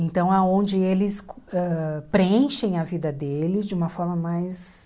Então, é onde eles ãh preenchem a vida deles de uma forma mais...